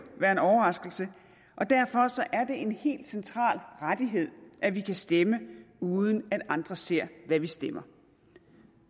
være en overraskelse og derfor er det en helt central rettighed at vi kan stemme uden at andre ser hvad vi stemmer